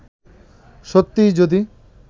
সত্যিই যদি